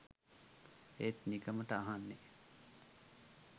ඒත් නිකමට අහන්නෙ